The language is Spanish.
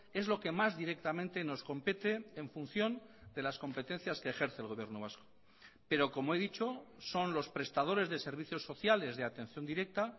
es lo que más directamente nos compete en función de las competencias que ejerce el gobierno vasco pero como he dicho son los prestadores de servicios sociales de atención directa